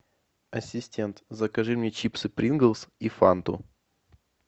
ассистент закажи мне чипсы принглс и фанту